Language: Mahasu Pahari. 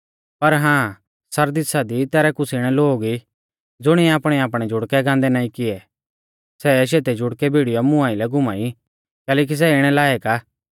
पर हां सरदीसा दी तैरै कुछ़ इणै लोग ई ज़ुणिऐ आपणैआपणै जुड़कै गांदै नाईं किऐ सै शैतै जुड़कै भिड़ीयौ मुं आइलै घूमाई कैलैकि सै इणै लायक आ